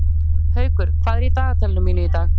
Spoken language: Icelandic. Haukur, hvað er í dagatalinu mínu í dag?